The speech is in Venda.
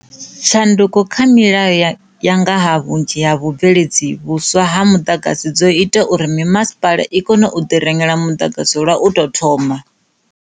Tshanduko kha milayo ya nga ha vhunzhi ha vhubveledzi vhuswa ha muḓagasi dzo ita uri mimasipala i kone u tou ḓirengela muḓagasi lwa u tou thoma.